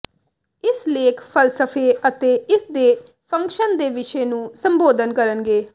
ਇਸ ਲੇਖ ਫ਼ਲਸਫ਼ੇ ਅਤੇ ਇਸ ਦੇ ਫੰਕਸ਼ਨ ਦੇ ਵਿਸ਼ੇ ਨੂੰ ਸੰਬੋਧਨ ਕਰਨਗੇ